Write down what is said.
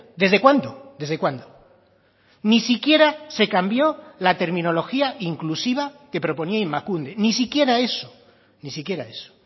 desde cuándo desde cuándo ni siquiera se cambió la terminología inclusiva que proponía emakunde ni siquiera eso ni siquiera eso